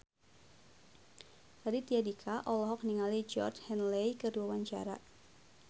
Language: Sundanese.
Raditya Dika olohok ningali Georgie Henley keur diwawancara